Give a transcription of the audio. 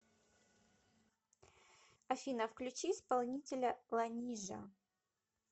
афина включи исполнителя ланижа